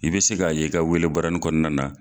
I bɛ se k'a ye i ka wele baranin kɔnɔna na.